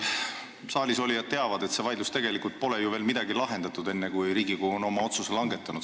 Saalis olijad teavad, et see vaidlus pole tegelikult ju veel sugugi lahendatud, enne kui Riigikogu on oma otsuse langetanud.